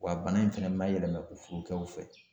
Wa bana in fɛnɛ ma yɛlɛma u furukɛw fɛ.